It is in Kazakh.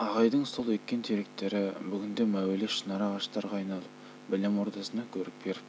ағайдың сол еккен теректері бүгінде мәуелі шынар ағаштарға айналып білім ордасына көрік беріп тұр